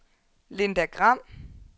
Linda Gram